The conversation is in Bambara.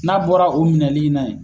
N'a bɔra o minɛli na ye